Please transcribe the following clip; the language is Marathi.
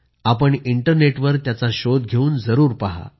आपण इंटरनेटवर त्याचा शोध घेऊन जरूर पहा